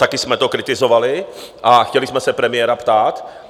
Taky jsme to kritizovali a chtěli jsme se premiéra ptát.